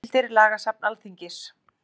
Heimildir Lagasafn Alþingis.